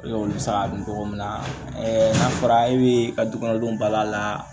Ekɔli bɛ se ka dun cogo min na n'a fɔra e bɛ ka dukɔnɔdenw bal'a la